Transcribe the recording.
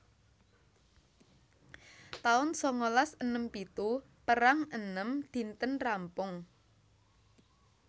taun sangalas enem pitu Perang enem dinten rampung